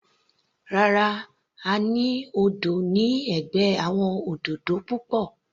Rárá, a ní odò ní ẹ̀gbẹ́ àwọn òdòdó púpọ̀.